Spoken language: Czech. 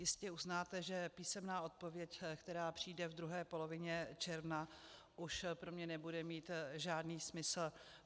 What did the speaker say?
Jistě uznáte, že písemná odpověď, která přijde v druhé polovině června, už pro mě nebude mít žádný smysl.